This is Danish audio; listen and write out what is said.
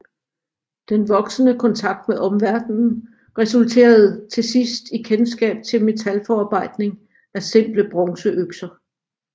Den voksende kontakt med omverdenen resulterede til sidst i kendskab til metalforarbejdning af simple bronzeøkser